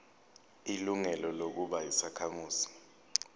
ilungelo lokuba yisakhamuzi